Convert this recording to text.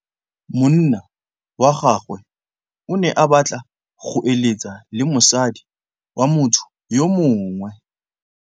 Monna wa gagwe o ne a batla go êlêtsa le mosadi wa motho yo mongwe.